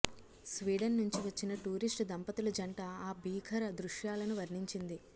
Sweden నుంచి వచ్చిన tourist దంపతుల జంట ఆ భీకర దృశ్యాలను వర్ణించింది